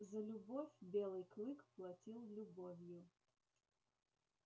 за любовь белый клык платил любовью